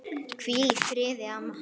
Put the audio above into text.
Hvíldu í friði, amma.